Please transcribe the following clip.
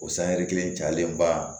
O sanyɛri kelen jalenba